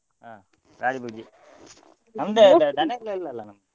ಹಾ ಗಾಡಿ ಪೂಜೆ ದನಯೆಲ್ಲಾ ಇಲ್ಲ ಅಲ್ಲ ನಮ್ದು.